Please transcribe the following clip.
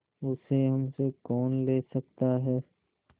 उसे हमसे कौन ले सकता है